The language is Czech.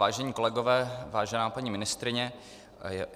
Vážení kolegové, vážená paní ministryně.